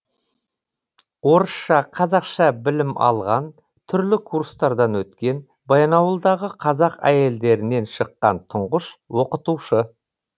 орысша қазақша білім алған түрлі курстардан өткен баянауылдағы қазақ әйелдерінен шыққан тұңғыш оқытушы